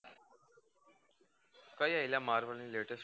કઈ આઇ લા marvel ની latest movie